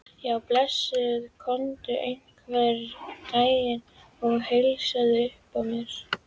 Já, blessaður komdu einhvern daginn og heilsaðu upp á þær.